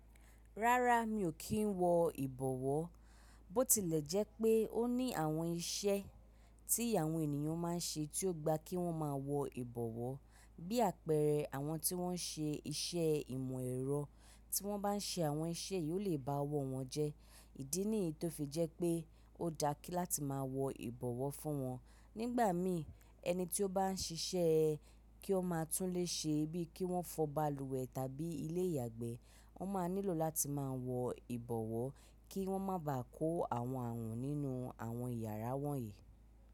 Rárá mi ò kí n wọ ìbọ̀wọ́, bó tilẹ̀ jẹ́ pé ó ní àwọn iṣẹ́ tí àwọn ènìyàn ma n ṣe tí ó gba kí wọ́n máa wọ ìbọ̀wọ́ bí àpẹẹrẹ àwọn tí wọ́n n ṣe iṣẹ́ ìmọ̀ ẹ̀rọ, tí wọ́n bá n ṣe àwọn iṣẹ́ yìí ó lè ba ọwọ́ wọn jẹ́, ìdí nìyí tó fi jẹ́ pé ó dá láti máa wọ ìbọ̀wọ́ fún wọn. Nígbà mi, ẹni tí ó bá n ṣiṣẹ́ kí ó máa tún ilè ṣe bíi kí wọ́n fọ balùwẹ̀ tàbí ilé ìyàgbẹ́, wọ́n ma nílò láti máa wọ ìbọ̀wọ́ kí wọ́n má bà kó àwọn àrùn nínú àwọn yàrá wọ̀nyí.